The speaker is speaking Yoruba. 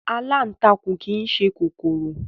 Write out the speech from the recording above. Aláǹtakùn kìí ṣe kòkòrò